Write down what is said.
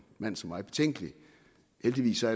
mand som mig betænkelig heldigvis er